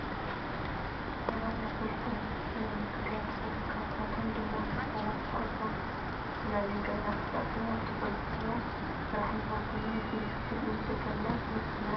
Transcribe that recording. ሰባት ናብ ፖሊስ ጣብያ ብዝተፈላለዩ ጉዳያት ይኸዱ። ካብኣቶም ድማ ምስ ሰባት ተባኢሶም፣ ብዝተፈላለዩ ገበናት ተጠርጢሮም፣ ኣብቲ ፖሊስ ጣብያ ሰራሕተኛታት ኾይኖም፣ ንምስክርነትን ንውሕስናን እዮም።